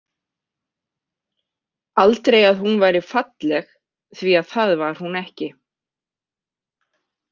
Aldrei að hún væri falleg því að það var hún ekki.